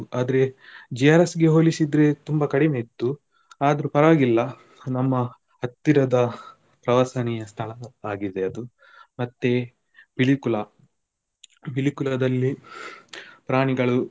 ಆದ್ರೆ JRS ಗೆ ಹೋಲಿಸಿದ್ರೆ ತುಂಬ ಕಡಿಮೆ ಇತ್ತು ಆದ್ರೂ ಪರವಾಗಿಲ್ಲ ನಮ್ಮ ಹತ್ತಿರದಾ ಪ್ರವಾಸನಿಯಾ ಸ್ಥಳ ಆಗಿದೆ ಅದು ಮತ್ತೆ Pilikula Pilikula ದಲ್ಲಿ ಪ್ರಾಣಿಗಳು.